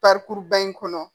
Tarikuba in kɔnɔ